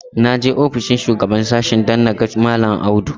Na je ofishin shugaban sashen don na ga mallam Audu.